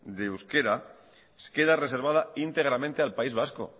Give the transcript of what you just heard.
del euskera queda reservada íntegramente al país vasco